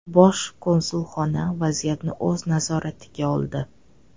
Bosh konsulxona vaziyatni o‘z nazoratiga oldi.